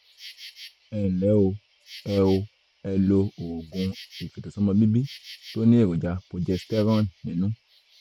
ẹ nlẹ́ o ẹ o ẹ lo oògùn ìfètòsọ́mọbíbí tó ní èròjà progesterone nínú